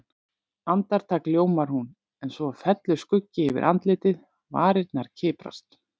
Andartak ljómar hún, en svo fellur skuggi yfir andlitið, varirnar kiprast.